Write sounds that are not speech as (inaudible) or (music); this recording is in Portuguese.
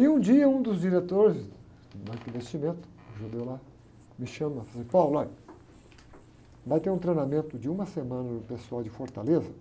E, um dia, um dos diretores do banco de investimento, um judeu lá, me chama e fez assim, (unintelligible) vai ter um treinamento de uma semana do pessoal de Fortaleza